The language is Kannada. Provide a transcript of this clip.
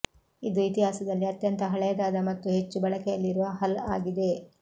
ಇದು ಇತಿಹಾಸದಲ್ಲಿ ಅತ್ಯಂತ ಹಳೆಯದಾದ ಮತ್ತು ಹೆಚ್ಚು ಬಳಕೆಯಲ್ಲಿರುವ ಹಲ್ ಆಗಿದೆ